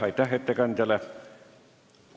Aitäh ettekandjale!